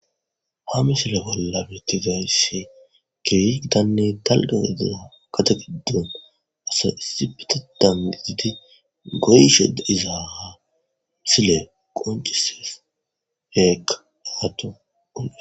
Ha misile bolla betidayisi kehi gittane daligga gade gidoni issi asi goyishe dizayisa misileyi qoncisesi hekka